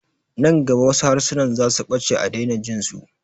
Nan gaba wasu harsunan zasu ɓace a daina jinsu